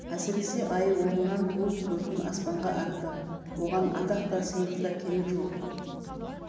әсіресе айы оңынан туып бөркін аспанға атты оған атақ та сыйлық та керек жоқ